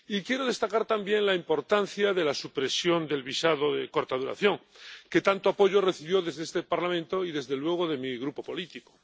Y quiero destacar también la importancia de la supresión del visado de corta duración, que tanto apoyo recibió desde este Parlamento y, desde luego, de mi grupo político.